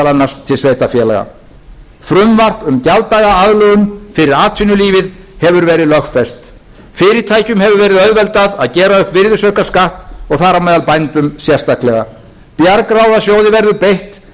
annars til sveitarfélaga frumvarp um gjalddagaaðlögun fyrir atvinnulífið hefur verið lögfest fyrirtækjum hefur verið auðveldað að gera upp virðisaukaskatt og þar á meðal bændum sérstaklega bjargráðasjóði verður beitt til að